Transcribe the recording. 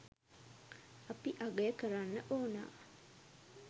අපි අගය කරන්න ඕනා.